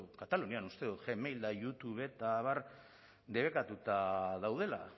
katalunian uste dut gmail eta youtube eta abar debekatuta daudela